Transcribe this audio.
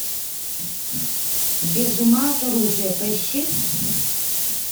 без ума от оружия поищи